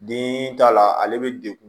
Den t'a la ale bɛ dekun